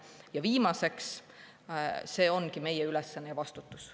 Ja viimaseks, see ongi meie ülesanne ja vastutus.